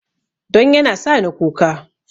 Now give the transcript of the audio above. Don yana sa ni kuka